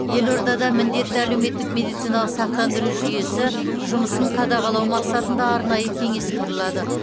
елордада міндетті әлеуметтік медициналық сақтандыру жүйесі жұмысын қадағалау мақсатында арнайы кеңес құрылады